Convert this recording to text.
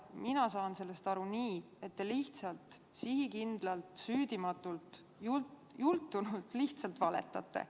Mina saan sellest aru nii, et te lihtsalt sihikindlalt, süüdimatult, jultunult valetate.